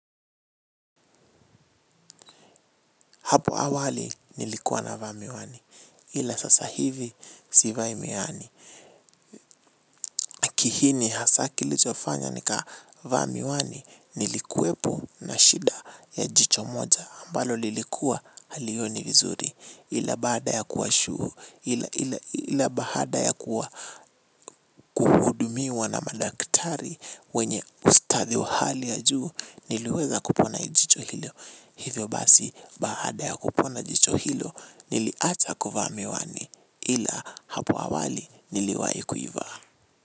Hapo awali nilikuwa navaa miwani ila sasa hivi sivai miwani. Kiini hasa kilichofanya nikavaa miwani nilikuwepo na shida ya jicho moja ambalo lilikuwa halioni vizuri. Ila baada ya kuwa shu. Ila baada ya kuhudumiwa na madaktari wenye ustadi wa hali ya juu. Niliweza kupona jicho hilo. Hivyo basi baada ya kupona jicho hilo. Niliacha kuvaa miwani ila hapo awali niliwahi kuivaa.